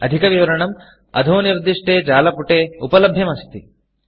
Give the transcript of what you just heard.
अधिकविवरणं httpspoken tutorialorgNMEICT Intro इति जालपुटे उपलभ्यमस्ति